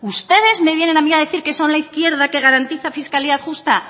ustedes me vienen a mí a decir que son la izquierda que garantiza fiscalidad justa